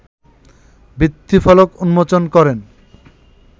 ভিত্তিফলক উন্মোচন করেন